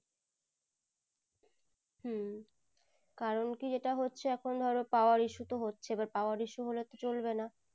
হম কারণ কি যেটা হচ্ছে এখুন ধরো tower-issue তো হচ্ছেই but tower issue তো হলে চলবে না